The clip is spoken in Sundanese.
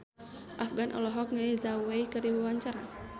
Afgan olohok ningali Zhao Wei keur diwawancara